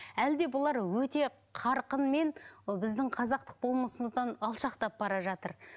әлде бұлар өте қарқынмен ы біздің қазақтық болмысымыздан алшақтап бара жатыр